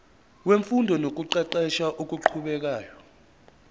wemfundo nokuqeqesha okuqhubekayo